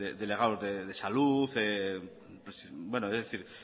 delegados de salud es decir